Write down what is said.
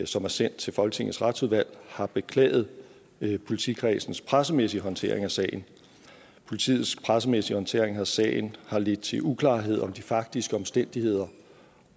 som er sendt til folketingets retsudvalg har beklaget politikredsens pressemæssige håndtering af sagen politiets pressemæssige håndtering af sagen har ledt til uklarheder om de faktiske omstændigheder